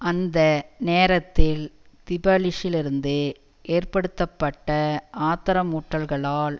அந்த நேரத்தில் திபலிசியிலிருந்து ஏற்படுத்தப்பட்ட ஆத்திரமூட்டல்களால்